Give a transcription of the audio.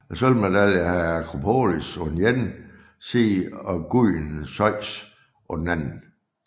Sølvmedaljen havde Akropolis på den ene side og guden Zeus på den anden